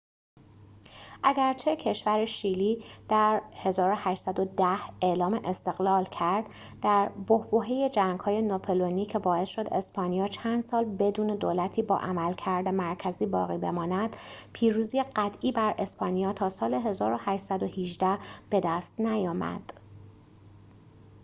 اگرچه کشور شیلی در 1810 اعلام استقلال کرددر بحبوحه جنگ‌های ناپلئونی که باعث شد اسپانیا چند سال بدون دولتی با عملکرد مرکزی باقی بماند، پیروزی قطعی بر اسپانیا تا سال 1818 بدست نیامد